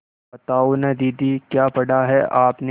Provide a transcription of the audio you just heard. बताओ न दीदी क्या पढ़ा है आपने